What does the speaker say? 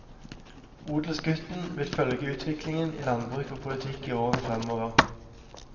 Odelsgutten vil følge utviklingen i landbruk og politikk i årene fremover.